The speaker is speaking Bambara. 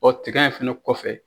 Ɔ tiga in fana kɔfɛ